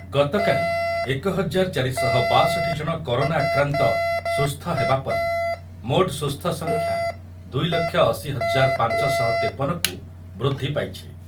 ଗତକାଲି ଏକ ହଜାର ଚାରି ଶହ ବାଷଠି ଜଣ କରୋନା ଆକ୍ରାନ୍ତ ସୁସ୍ଥ ହେବାପରେ ମୋଟ ସୁସ୍ଥ ସଂଖ୍ୟା ଦୁଇ ଲକ୍ଷ ଅଶି ହଜାର ପାଞ୍ଚ ଶହ ତେପନ କୁ ବୃଦ୍ଧିପାଇଛି।